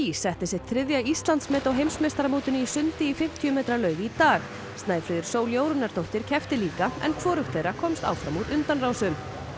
setti sitt þriðja Íslandsmet á heimsmeistaramótinu í sundi í fimmtíu metra laug í dag Snæfríður Sól Jórunnardóttir keppti líka en hvorugt þeirra komst áfram úr undanrásum